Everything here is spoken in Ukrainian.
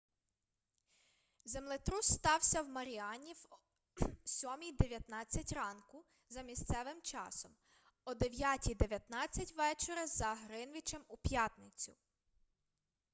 землетрус стався в маріані в 07:19 ранку за місцевим часом о 09:19 вечора за гринвічем у п'ятницю